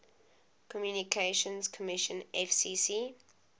communications commission fcc